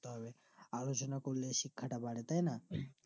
তবে আলোচনা করলে শিক্ষাটা বাড়ে তাই না